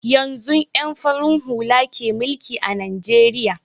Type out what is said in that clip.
Yanzun ƴan farin hula ke mulki a najeriya